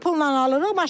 Onu da pulla alırıq.